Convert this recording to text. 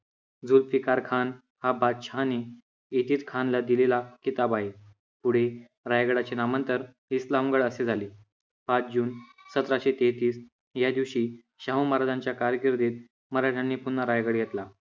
जुल्फिकार खान हा बादशाहाने इतीसखान ला दिलेला किताब आहे. पुढे रायगडाचे नामांतर इस्लामगड असे झाले. पाच जून सतराशे तेहतीस या दिवशी शाहू महाराजांच्या कारकिर्दीत मराठ्यांनी पुन्हा रायगड घेतला.